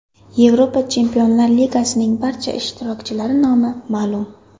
Yevropa Chempionlar Ligasining barcha ishtirokchilari nomi ma’lum.